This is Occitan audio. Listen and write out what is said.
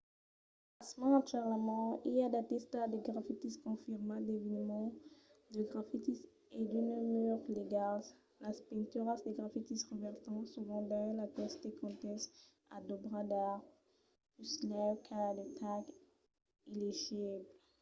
pasmens actualament i a d'artistas de grafitis confirmats d'eveniments de grafitis e d'unes murs legals". las pinturas de grafitis revèrtan sovent dins aqueste contèxt a d'òbras d'art puslèu qu'a de tags illegibles